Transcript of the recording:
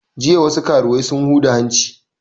Jiya wasu karuwai sun huda hanci